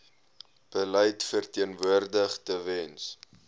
beleid verteenwoordig tewens